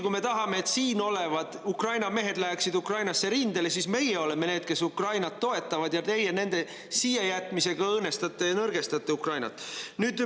Kui meie tahame, et siin olevad Ukraina mehed läheksid Ukrainasse rindele, siis meie oleme need, kes Ukrainat toetavad, aga teie nende siiajätmisega õõnestate ja nõrgestate Ukrainat.